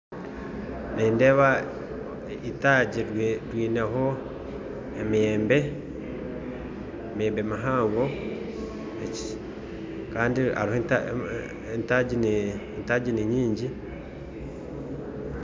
Nindeba itagi ryineho emiyembe, emiyembe mihango, kandi hariho entagi ninyingi.